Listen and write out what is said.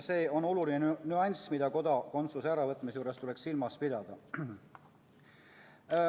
See on oluline nüanss, mida kodakondsuse äravõtmise juures tuleks silmas pidada.